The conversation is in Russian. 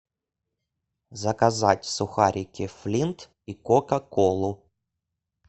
заказать сухарики флинт и кока колу